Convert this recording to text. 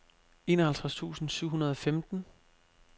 enoghalvtreds tusind syv hundrede og femten